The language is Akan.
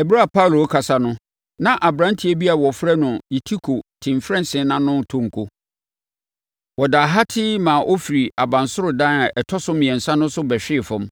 Ɛberɛ a Paulo rekasa no, na aberanteɛ bi a wɔfrɛ no Eutiko te mfɛnsere ano retɔ nko. Ɔdaa hatee maa ɔfiri abansoro dan a ɛtɔ so mmiɛnsa no so bɛhwee fam.